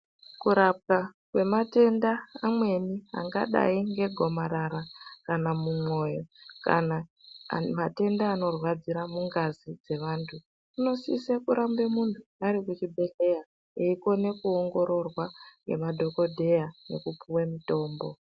Kurapwa kwematenda amweni angadayi ngegomarara kana mumwoyo kana matenda anorwadzira mungazi dzevantu kunosise kurambe muntu arikuchibhodhleya eikone kuongoroorwa ngemadhokodheya neipuwe mutombo.